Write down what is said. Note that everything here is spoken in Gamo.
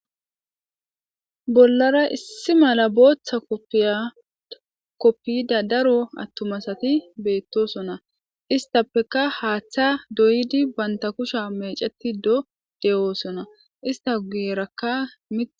bollara issi mala booththa koppiyda daro attumasati beettosona ista peka haaththa doyidi banta kusha meceti do de7oosona ista gueerakka mie